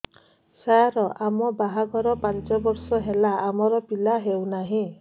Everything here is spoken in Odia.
ସାର ଆମ ବାହା ଘର ପାଞ୍ଚ ବର୍ଷ ହେଲା ଆମର ପିଲା ହେଉନାହିଁ